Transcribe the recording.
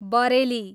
Bareilly